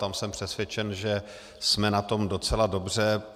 Tam jsem přesvědčen, že jsme na tom docela dobře.